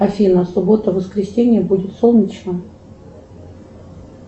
афина суббота воскресенье будет солнечно